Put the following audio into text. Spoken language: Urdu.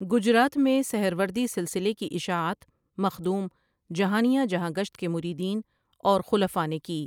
گجرات میں سہروردی سلسلے کی اِشاعت مخدوٗم جہانیاں جہاں گشت کے مرید ین اور خلفاء نے کی۔